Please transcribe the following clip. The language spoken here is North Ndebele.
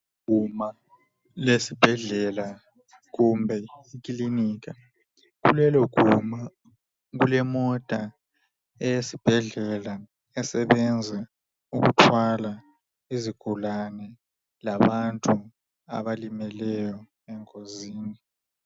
Liguma lesibhedlela kumbe lekilinika. Kuleloguma kulemota eyesibhedlela esebenza ukuthwala izigulane labantu abalimeleyo engozini.